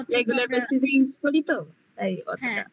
regular basically use করি তো তাই অতটা হ্যাঁ